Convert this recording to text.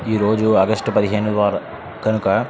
ఈరోజు ఆగష్టు పదిహేను వార కనుక.